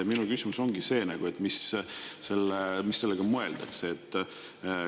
Minu küsimus ongi see: mida selle all mõeldakse?